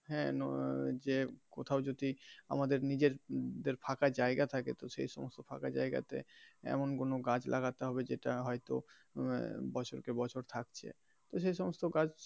হ্যা যে কোথাও যদি আমাদের নিজেদের ফাঁকা জায়গা থাকে তো সে সমস্ত ফাঁকা জায়গা তে এমন কোনো গাছ লাগাতে হবে যেটা হয় তো বছর কে বছর থাকছে তো সেই সমস্ত গাছ.